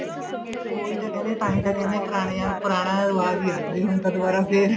ਉਹੀ ਤਾਂ ਕਹਿਣੀ ਹਾਂ ਤਾਂਹੀ ਤਾਂ ਕਹਿਣੇ ਹਾਂ ਪੁਰਾਣਿਆ ਪੁਰਾਣਾ ਰਿਵਾਜ ਹੀ ਆ ਜਵੇ ਹੁਣ ਤਾਂ ਦੁਆਰਾ ਫ਼ੇਰ